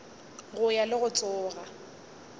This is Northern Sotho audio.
go wa le go tsoga